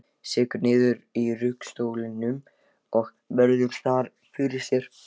Sekkur niður í ruggustólinn og virðir það fyrir sér.